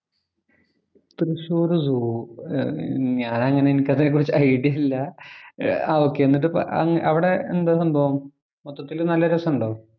Thrissur‍ zoo ഞാനങ്ങനെ എനിക്ക് അതിനെ കുറിച്ച് ഐഡിയ ഇല്ല. ആഹ് ഓകെ. എന്നിട്ട് അവിടെ എന്താ സംഭവം? മൊത്തത്തില് നല്ല രസം ഉണ്ടോ?